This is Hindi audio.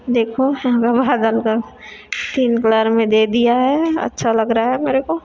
देखो विभाजन को तीन कलर में दे दिया है अच्छा लग रहा है मेरे को।